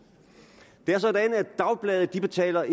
det er sådan at dagblade ikke betaler